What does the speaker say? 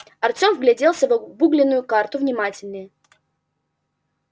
артем вгляделся в обугленную карту внимательнее